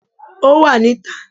Ò wà ní ta